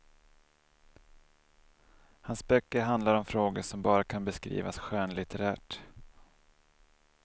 Hans böcker handlar om frågor som bara kan beskrivas skönlitterärt.